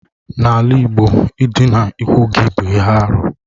N'ala Igbo ịdịna ikwu gị bụ ihe arụ.